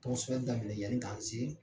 Tɔgɔsɛbɛli daminɛ yani k'an se.